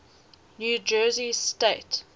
new jersey state